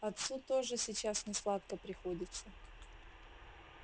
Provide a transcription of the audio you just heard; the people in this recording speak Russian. отцу тоже сейчас несладко приходится